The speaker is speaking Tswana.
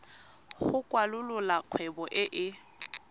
go kwalolola kgwebo e e